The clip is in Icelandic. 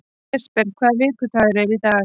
Jesper, hvaða vikudagur er í dag?